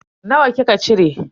Nawa kika cire?